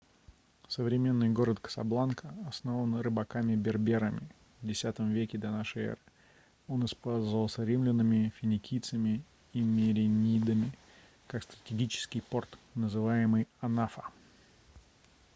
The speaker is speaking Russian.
современный город касабланка основан рыбаками-берберами в x веке до н э он использовался римлянами финикийцами и меренидами как стратегический порт называемый анфа